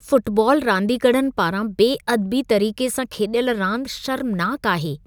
Football रांदीगरनि पारां बेअदबी तरीक़े सां खेॾियल रांदि शर्मनाकु आहे।